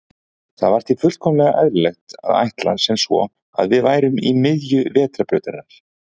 Það var því fullkomlega eðlilegt að ætla sem svo að við værum í miðju Vetrarbrautarinnar.